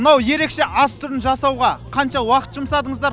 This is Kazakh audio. мынау ерекше ас түрін жасауға қанша уақыт жұмсадыңыздар